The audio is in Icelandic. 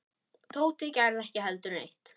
Tóti gerði ekki heldur neitt.